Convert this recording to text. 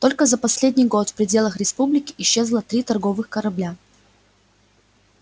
только за последний год в пределах республики исчезло три торговых корабля